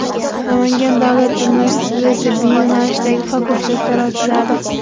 Namangan davlat universitetida tibbiy yo‘nalishdagi fakultetlar ochiladi.